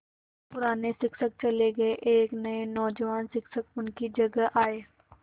पुराने शिक्षक चले गये एक नये नौजवान शिक्षक उनकी जगह आये